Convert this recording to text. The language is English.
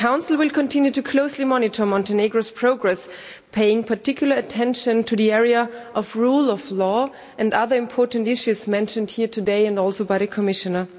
The Council will continue to closely monitor Montenegro's progress, paying particular attention to the area of rule of law and other important issues mentioned here today and also by the Commissioner.